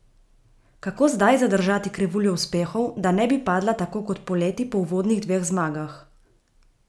Kako zdaj zadržati krivuljo uspehov, da ne bi padla tako kot poleti po uvodnih dveh zmagah?